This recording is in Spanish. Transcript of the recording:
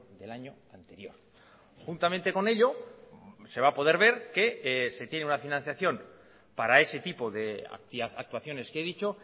del año anterior juntamente con ello se va a poder ver que se tiene una financiación para ese tipo de actuaciones que he dicho